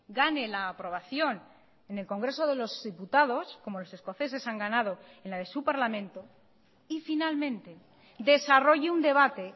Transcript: gane la aprobación en el congreso de los diputados como los escoceses han ganado en la de su parlamento y finalmente desarrolle un debate